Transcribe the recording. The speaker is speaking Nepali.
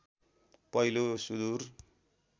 पहिलो सुदुर